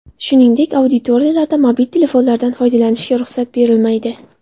Shuningdek, auditoriyalarda mobil telefonlardan foydalanishga ruxsat berilmaydi.